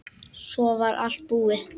Svo var allt búið.